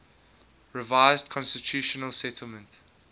revised constitutional settlement